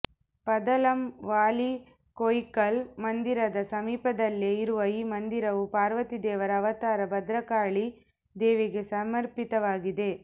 ಪಂದಲಂ ವಾಲಿಕೊಯಿಕ್ಕಲ್ ಮಂದಿರದ ಸಮೀಪದಲ್ಲೇ ಇರುವ ಈ ಮಂದಿರವು ಪಾರ್ವತಿ ದೇವರ ಅವತಾರ ಭದ್ರಕಾಳಿ ದೇವಿಗೆ ಸಮರ್ಪಿತವಾಗಿದೆ